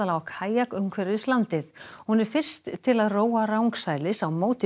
á kajak umhverfis landið hún er fyrst til að róa rangsælis á móti